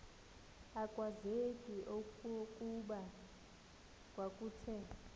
akwazeki okokuba kwakuthe